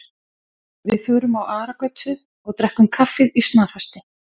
Við förum á Aragötu og drekkum kaffi í snarhasti.